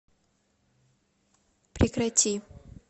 прекрати